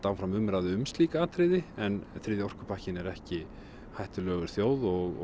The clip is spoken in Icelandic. áfram umræðu um slík atriði en þriðji orkupakkinn er ekki hættulegur þjóð og